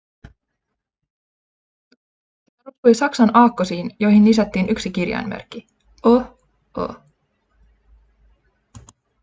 se perustui saksan aakkosiin joihin lisättiin yksi kirjainmerkki: õ/õ